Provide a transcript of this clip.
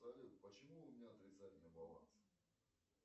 салют почему у меня отрицательный баланс